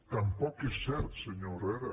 tampoc és cert senyor herrera